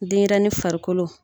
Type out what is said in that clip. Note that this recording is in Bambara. Denyɛrɛnin farikolo